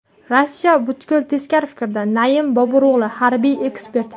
Rossiya butkul teskari fikrda”, Naim Boburo‘g‘li, harbiy ekspert.